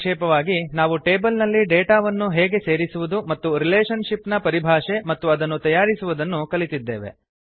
ಸಂಕ್ಷೇಪವಾಗಿ ನಾವು ಟೇಬಲ್ ನಲ್ಲಿ ಡೇಟಾ ಅನ್ನು ಹೇಗೆ ಸೇರಿಸುವುದು ಮತ್ತು ರಿಲೇಶನ್ ಶಿಪ್ ನ ಪರಿಭಾಷೆ ಮತ್ತು ಅದನ್ನು ತಯಾರಿಸುವುದನ್ನು ಕಲಿತಿದ್ದೇವೆ